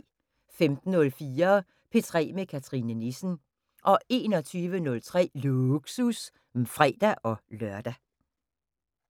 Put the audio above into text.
15:04: P3 med Cathrine Nissen 21:03: Lågsus (fre-lør)